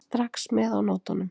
Strax með á nótunum.